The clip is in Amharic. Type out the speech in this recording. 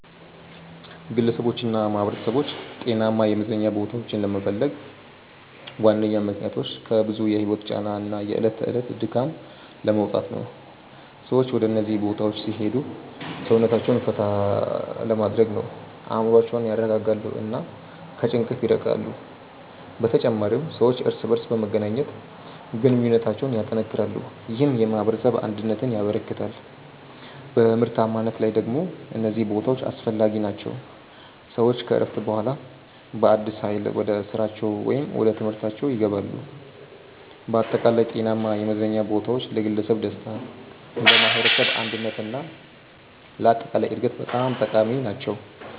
ግለሰቦችና ማኅበረሰቦች ጤናማ የመዝናኛ ቦታዎችን ለመፈለግ ዋነኛ ምክንያቶች ከብዙ የህይወት ጫና እና የዕለት ተዕለት ድካም ለመውጣት ነው። ሰዎች ወደ እነዚህ ቦታዎች ሲሄዱ ሰውነታቸውን ፈታ ይላል፣ አእምሮአቸውን ያረጋጋሉ እና ከጭንቀት ይርቃሉ። በተጨማሪም ሰዎች እርስ በርስ በመገናኘት ግንኙነታቸውን ያጠናክራሉ፣ ይህም የማኅበረሰብ አንድነትን ያበረክታል። በምርታማነት ላይ ደግሞ እነዚህ ቦታዎች አስፈላጊ ናቸው፤ ሰዎች ከእረፍት በኋላ በአዲስ ኃይል ወደ ስራቸው ወይም ወደ ትምህርታችው ይገባሉ። በአጠቃላይ ጤናማ የመዝናኛ ቦታዎች ለግለሰብ ደስታ፣ ለማኅበረሰብ አንድነት እና ለአጠቃላይ እድገት በጣም ጠቃሚ ናቸው።